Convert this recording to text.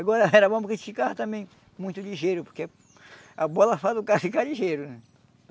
Agora era bom porque a gente ficava também muito ligeiro, porque a bola faz o cara ficar ligeiro, né?